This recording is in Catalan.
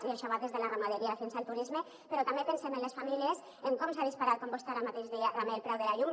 i això va des de la ramaderia fins al turisme però també pensem en les famílies en com s’ha disparat com vostè ara mateix deia també el preu de la llum